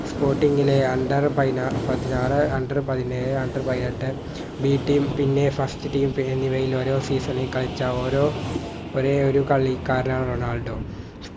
sporting ലെ under പയിന പതിനാർ under പതിനേഴ് under പതിനെട്ട് B team പിന്നെ First team എന്നിവയിൽ ഓരോ season ൽ കളിച്ച ഓരോ ഒരേയൊരു കളിക്കാരനാണ് റൊണാൾഡോ